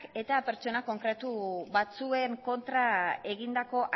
eta pertsona konkretu batzuen kontra egindako